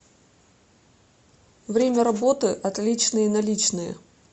время работы отличные наличные